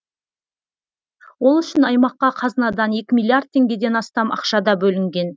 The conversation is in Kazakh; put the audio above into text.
ол үшін аймаққа қазынадан екі миллиард теңгеден астам ақша да бөлінген